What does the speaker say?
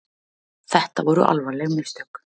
Þetta voru alvarleg mistök